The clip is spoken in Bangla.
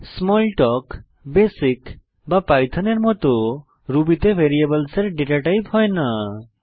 স্মলতালক বেসিক বা পাইথন এর মত রুবি তে ভ্যারিয়েবলসের ডেটাটাইপ হয় না